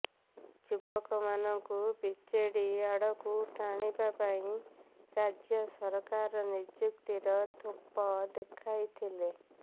ଯୁବକମାନଙ୍କୁ ବିଜେଡି ଆଡ଼କୁ ଟାଣିବା ପାଇଁ ରାଜ୍ୟ ସରକାର ନିଯୁକ୍ତିର ଥୋପ ଦେଖାଇଥିଲେ